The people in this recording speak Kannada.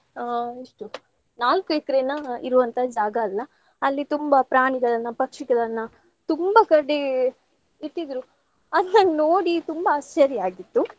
ಆ ಎಷ್ಟು ನಾಲ್ಕು ಎಕರೆನಾ ಇರುವಂತಾ ಜಾಗ ಅಲ್ಲಾ. ಅಲ್ಲಿ ತುಂಬಾ ಪ್ರಾಣಿಗಳನ್ನ, ಪಕ್ಷಿಗಳನ್ನ ತುಂಬಾ ಕಡೆ ಇಟ್ಟಿದ್ರು. ಅದ್ ನಂಗ್ ನೋಡಿ ತುಂಬಾ ಆಶ್ಚರ್ಯ ಆಗಿತ್ತು.